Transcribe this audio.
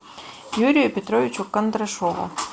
юрию петровичу кондрашову